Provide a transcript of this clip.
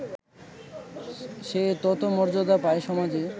সে তত মর্যাদা পায় সমাজে